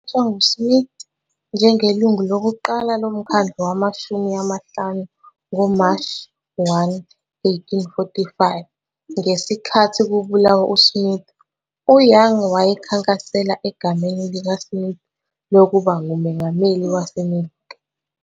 Wakhethwa nguSmith njengelungu lokuqala loMkhandlu Wamashumi amahlanu ngoMashi 1, 1845. Ngesikhathi kubulawa uSmith, uYoung wayekhankasela egameni likaSmith lokuba ngumengameli waseMelika.